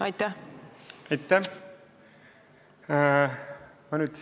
Aitäh!